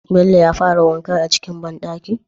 Bello ya fara wanka a cikin ban dakin?